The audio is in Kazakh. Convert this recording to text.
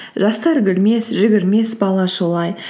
жастар күлмес жүгірмес бала шулай